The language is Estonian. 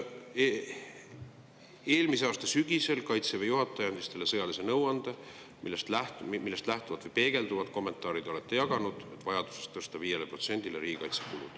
Eelmise aasta sügisel andis Kaitseväe juhataja teile sõjalise nõuande, millest lähtuvat või peegelduvat kommentaari te olete jaganud, tõsta riigikaitsekulud 5%-le.